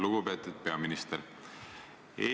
Lugupeetud peaminister!